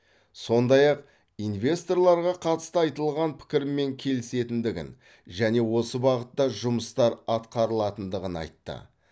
сондай ақ инвесторларға қатысты айтылған пікірмен келісетіндігін және осы бағытта жұмыстар атқарылатындығын айтты